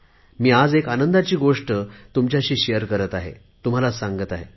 मी आज एक आनंदाची गोष्ट तुमच्याशी शेअर करत आहे तुम्हाला सांगत आहे